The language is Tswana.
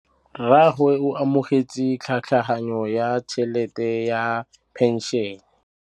Rragwe o amogetse tlhatlhaganyô ya tšhelête ya phenšene.